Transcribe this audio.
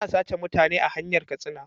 Ana sace mutane a hanyar katsina